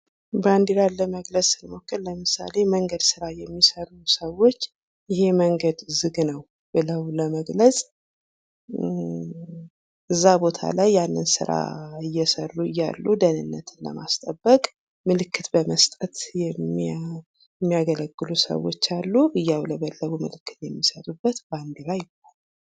ባንድራን ለመግለጽ ስንሞክር ለምሳሌ መንገድ ስራ የሚሰሩ ሰዎች ይሄ መንገድ ዝግ ነው ብለው ለመግለጽ እዛ ቦታ ላይ ያንን ስራ እየሰሩ እያሉ ደህንነትን ለማስጠበቅ ምልክት በመስጠት የሚያገለግሉ ሰዎች አሉ ምልክት የሚሰጡበት ባንድራ ይባላል።